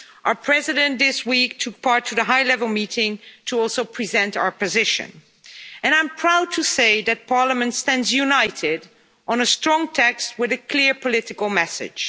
Our President this week took part in the high level meeting to also present our position, and I'm proud to say that Parliament stands united on a strong text with a clear political message.